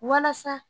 Walasa